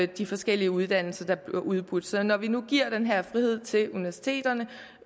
de forskellige uddannelser der bliver udbudt så når vi nu giver den her frihed til universiteterne